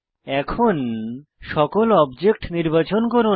এখন সকল অবজেক্ট নির্বাচন করুন